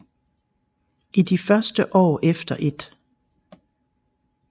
I de første år efter 1